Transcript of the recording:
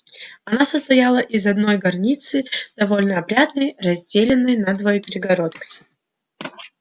она состояла из одной горницы довольно опрятной разделённой надвое перегородкой